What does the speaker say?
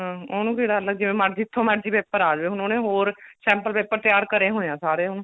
hm ਉਹਨੂੰ ਕਿ ਡਰ ਲੱਗਣਾ ਜਿਵੇਂ ਜਿੱਥੋ ਮਰਜੀ paper ਆ ਜੇ ਹੁਣ ਉਹਨੇ ਹੋਰ sample paper ਤਿਆਰ ਕਰੇ ਹੋਏ ਨੇ ਸਾਰੇ ਹੁਣ